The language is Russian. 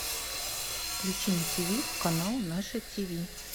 включи на ти ви канал наше ти ви